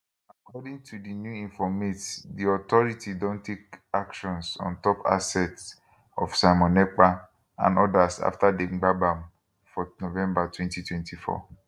according to di new informate di authority don take actions ontop assets of simon ekpa and odas afta dem gbab am for november 2024